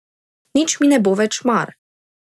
Nič mi ne bo več mar.